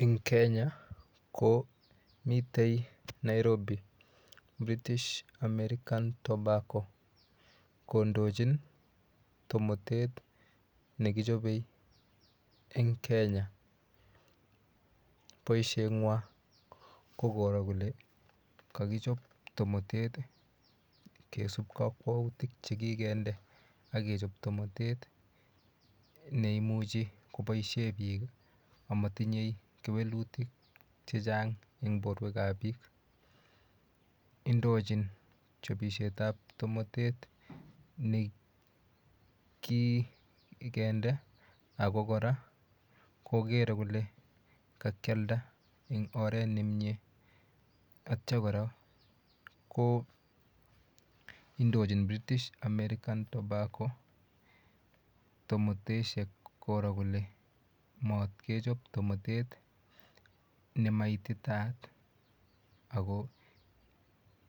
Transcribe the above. Eng Kenya ko mitei Nairobi British American tobacco kondochin tomotet nekichobei eng Kenya boishet ng'wan ko koro kole kakichop tomotet kesup kakwautik chekikende akechop tomotet neimuchi koboishe biik amatinyei kewelutik chechang eng borwek ap biik indochin chopishet ap tomotet ne kikende ako kora kokere kole kakialda eng oret nemie atyo kora ko indochin British American tobacco tomoteshek koro kole matkechop tomotet nemaitaat ako